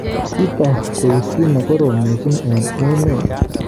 Kiotok koeku ki nekorom missing eng emet.